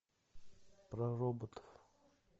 про роботов